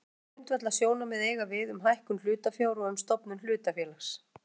Sömu grundvallarsjónarmið eiga við um hækkun hlutafjár og um stofnun hlutafélags.